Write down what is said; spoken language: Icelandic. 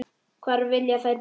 Hvar vilja þær búa?